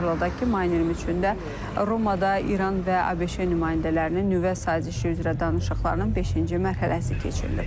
Xatırladaq ki, mayın 20-də Romada İran və ABŞ nümayəndələrinin nüvə sazişi üzrə danışıqlarının beşinci mərhələsi keçirilib.